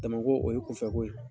Damako o ye kunfɛko ye.